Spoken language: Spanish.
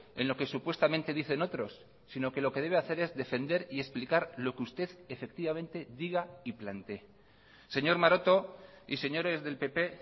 en lo que supuestamente dicen otros sino que lo que debe hacer es defender y explicar lo que usted efectivamente diga y plantee señor maroto y señores del pp